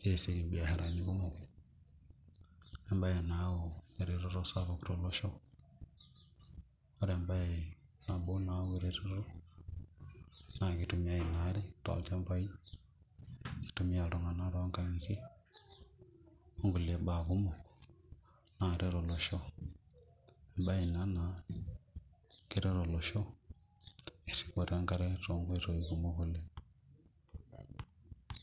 keyasieki biasharani kumok embae nayau eretoto sapuk tolosho oree embae nabo nayau eretoto naa keitumiai inaare tolchambai neitumia iltung'anak toonkang'itie onkulie baa kumok naret olosho, embae inaa naa keret olosho eripoto enkare tonkoitoi kumok.